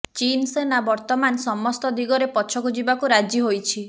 ଚୀନ୍ ସେନା ବର୍ତ୍ତମାନ ସମସ୍ତ ଦିଗରେ ପଛକୁ ଯିବାକୁ ରାଜି ହୋଇଛି